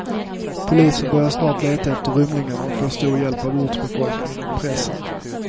Polisen börjar snart leta efter rymlingarna och får stor hjälp av ortsbefolkningen och pressen.